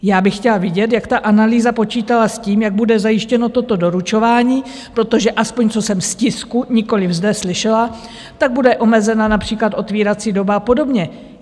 Já bych chtěla vědět, jak ta analýza počítala s tím, jak bude zajištěno toto doručování, protože aspoň co jsem z tisku, nikoliv zde slyšela, tak bude omezena například otevírací doba a podobně.